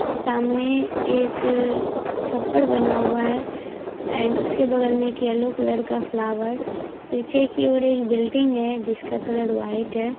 सामने एक छप्पड़ बना हुआ है एन्ड उसके बगल में एक येलो कलर का फ्लावर पीछे की ओर एक बिल्डिंग है जिसका कलर व्हाइट है।